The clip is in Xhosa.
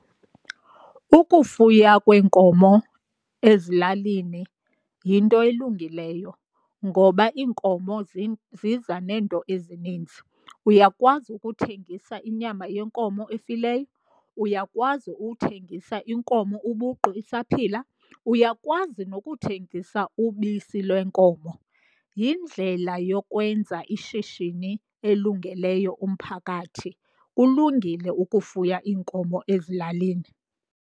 Ukufuya kweenkomo ezilalini yinto elungileyo ngoba iinkomo ziza neento ezininzi. Uyakwazi ukuthengisa inyama yenkomo efileyo, uyakwazi ukuthengisa inkomo ubuqu isaphila, uyakwazi nokuthengisa ubisi lwenkomo. Yindlela yokwenza ishishini elungeleyo umphakathi, kulungile ukufuya iinkomo ezilalini.